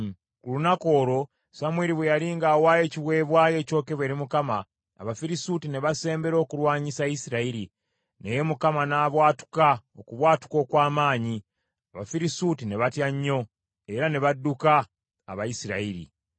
Ku lunaku olwo Samwiri bwe yali ng’awaayo ekiweebwayo ekyokebwa eri Mukama , Abafirisuuti ne basembera okulwanyisa Isirayiri, naye Mukama n’abwatuka okubwatuka okw’amaanyi, Abafirisuuti ne batya nnyo, era ne badduka Abayisirayiri.